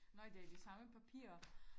Nej det er de samme papirer